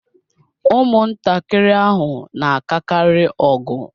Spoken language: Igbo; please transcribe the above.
Ụmụntakịrị ahụ na-akakarị ọgụ